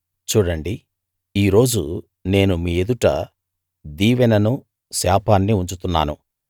చూడండి ఈ రోజు నేను మీ ఎదుట దీవెననూ శాపాన్నీ ఉంచుతున్నాను